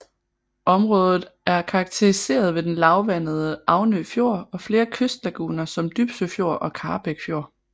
Området er karakteriseret ved den lavvandede Avnø Fjord og flere kystlaguner som Dybsø Fjord og Karrebæk Fjord